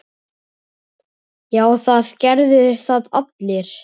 Já, það gerðu það allir.